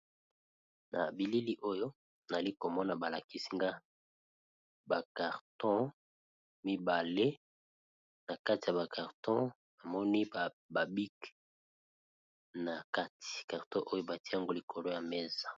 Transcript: Na bilili oyo nali komona ba lakisi nga ba carton mibale na kati ya ba carton namoni ba bic na kati, carton oyo batie yango likolo ya mesa.